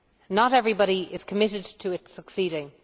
Not everybody is committed to it succeeding.